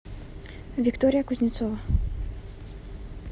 виктория кузнецова